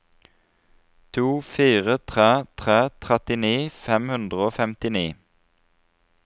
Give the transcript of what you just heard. to fire tre tre trettini fem hundre og femtini